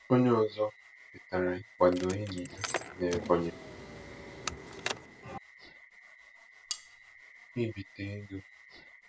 Onye ọzọ kwetara ịkwado enyi ya n'Ebonyi ibite ego.